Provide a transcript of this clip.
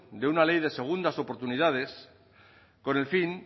de una ley de segundas oportunidades con el fin